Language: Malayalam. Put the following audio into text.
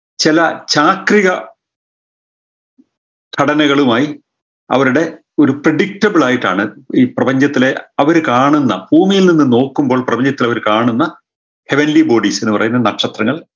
ചെല ചാക്രിക ഘടനകളുമായ് അവരുടെ predictable ആയിട്ടാണ് ഈ പ്രപഞ്ചത്തിലെ അവര് കാണുന്ന ഭൂമിയിൽ നിന്ന് നോക്കുമ്പോൾ പ്രപഞ്ചത്തിൽ അവര് കാണുന്ന heavenly bodies എന്ന് പറയുന്ന നക്ഷത്രങ്ങൾ